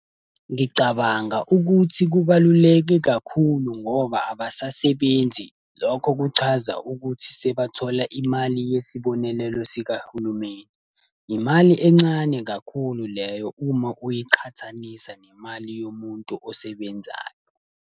Ngicabanga ukuthi kubaluleke kakhulu ngoba abasasebenzi. Lokho kuchaza ukuthi sabathola imali yesibonelelo sikahulumeni. Imali encane kakhulu leyo uma uyiqhathanisa nemali yomuntu osebenzayo.